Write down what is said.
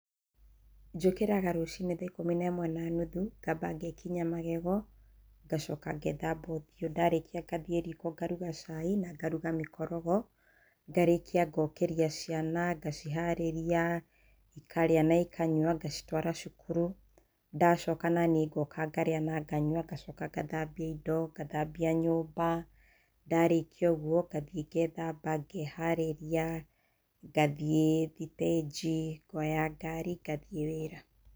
Njũkĩra rũcinĩ thaa ikumi na ĩmwe na nuthu, ngamba ngekinya magego, ngacoka ngethamba ũthiũ, ndarĩkia ngathiĩ riko ngaruga cai na ngaruga mĩkorogo, ngarĩkia ngokĩria ciana, ngaciharĩria, ikarĩa na ikanyua, ngacitwara cukuru. Ndacoka naniĩ ngoka ngarĩa na nganyua, ngacoka ngathambia indo, ngathambia nyũmba, ndarĩkia ũguo ngathiĩ ngethamba, ngeharĩria, ngathiĩ thĩtĩnji, ngoya ngari, ngathiĩ wĩra.